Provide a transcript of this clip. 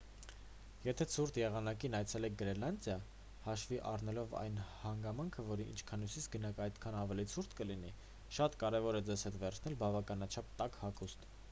եթե ցուրտ եղանակին այցելեք գրենլանդիա հաշվի առնելով այն հանգամանքը որ ինչքան հյուսիս գնաք այնքան ավելի ցուրտ կլինի շատ կարևոր է ձեզ հետ վերցնել բավականաչափ տաք հագուստ: